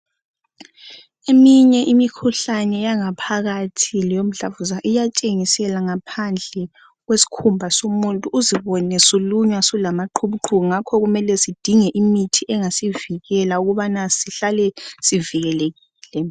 Eminye imikhuhlane yangaphakathi leyomdlavuza iyatshengisela ngaphandle kwesikhumba somuntu uzibone sulunywa sulamaqhubuqhubu, ngakho kumele sidinge imithi engasivikela ukubana sihlale sivikelekile.